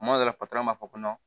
Tuma dɔ la b'a fɔ ko